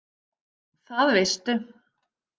Það veistu.